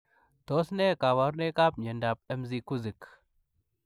Tos ne kabarunoik ap miondoop Mcgusik ?